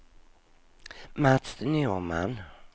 Mats Norman